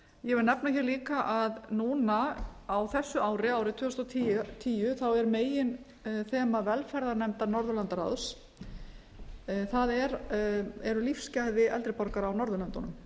ég vil nefna hér líka að núna á þessu ári árið tvö þúsund og tíu er meginþema velferðarnefndar norðurlandaráðs það eru lífsgæði eldri borgara á norðurlöndunum